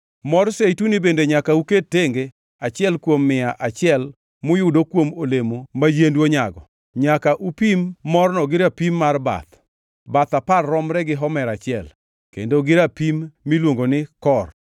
Mor zeituni bende nyaka uket tenge achiel kuom mia achiel muyudo kuom olemo ma yiendu onyago. Nyaka upim morno gi rapim mar bath (bath apar romre gi homer achiel, kendo gi rapim miluongo ni kor).